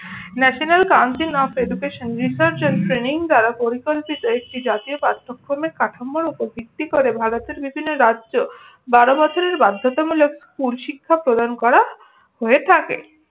National council of Education Research and Training দ্বারা পরিকল্পিত একটি জাতীয় পাঠ্যক্রমে কাঠামোর উপর ভিত্তি করে ভারতের বিভিন্ন রাজ্য বারো বছরের বাধ্যতামূলক স্কুল শিক্ষা প্রদান করা হয়ে থাকে।